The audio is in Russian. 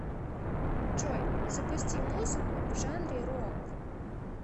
джой запусти музыку в жанре рок